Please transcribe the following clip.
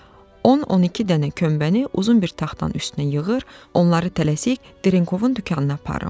O, 12 dənə kömbəni uzun bir taxtanın üstünə yığır, onları tələsik Dərenkovun dükanına aparıram.